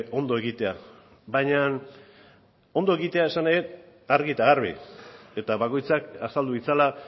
ondo egitea baina ondo egitea esan nahi dut argi eta garbi eta bakoitzak azaldu ditzala